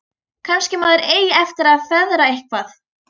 Kannski maður eigi eftir að feðra eitthvað.